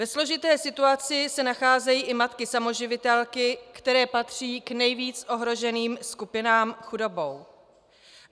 Ve složité situaci se nacházejí i matky samoživitelky, které patří k nejvíc ohroženým skupinám chudobou.